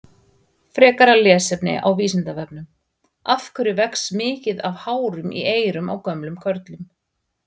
Frekara lesefni á Vísindavefnum: Af hverju vex mikið af hárum í eyrum á gömlum körlum?